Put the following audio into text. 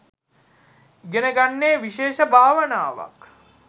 ඉගෙන ගන්නේ විශේෂ භාවනාවක්.